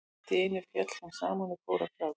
En allt í einu féll hún saman og fór að gráta.